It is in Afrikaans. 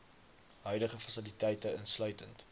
huidige fasiliteite insluitend